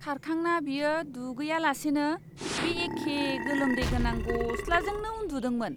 खारखांना बियो दुगैयालासेनो बे एखे गोलोमदै गोनां गस्लाजोंनो उन्दुदोंमोन!